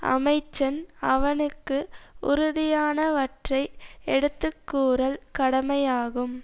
அமைச்சன் அவனுக்கு உறுதியானவற்றை எடுத்துக்கூறல் கடமையாகும்